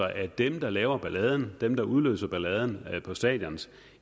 at dem der laver balladen dem udløser balladen på stadioner